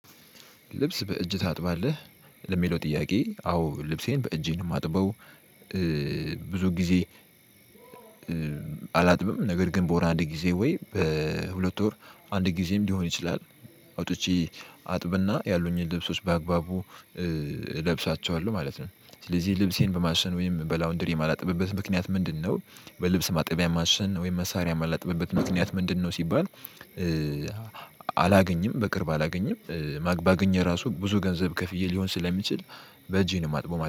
ልብስ በእጅ ታጥባለህ ለሚለው ጥያቄ አዎ ልብሴን በእጄ ነው የማጥበው። ብዙ ጊዜ አላጥብም ነገር ግን በወር አንድ ጊዜ ወይ በሁለት ወር አንድ ጊዜም ሊሆን ይችላል። አውጥቼ አጥብና ያሉኝን ልብሶች በአግባቡ እለብሳቸዋለሁ ማለት ነው። ስለዚህ ልብሴን በማሽን ወይም በላውንድሪ የማላጠብበት ምክንያት ምንድነው? በልብስ ማጠቢያ ማሸን ወይም መሳሪያ ማላጥበበት ምክንያት ምንድነው ሲባል? አላገኝም በቅርብ አላገኝም ማግ ባገኝ እራሱ ብዙ ገንዘብ ከፍዬ ሊሆን ስለሚችል በእጄ ነው ማጥበው